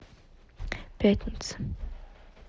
пятница